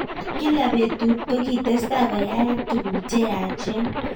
Kila betut kitestai koyayak tugk cheyachen .